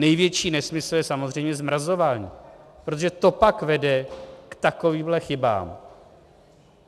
Největší nesmysl je samozřejmě zmrazování, protože to pak vede k takovýmhle chybám.